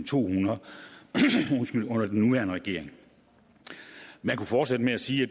tohundrede under den nuværende regering man kunne fortsætte med at sige at